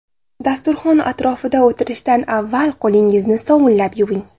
Dasturxon atrofida o‘tirishdan avval qo‘lingizni sovunlab yuving.